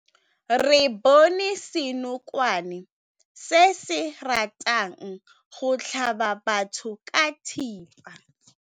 Re bone senokwane se se ratang go tlhaba batho ka thipa.